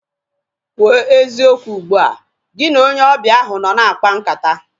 Kwụọ eziokwu ugbua! Gị na onye ọbịa ahu nọ na-akpa nkata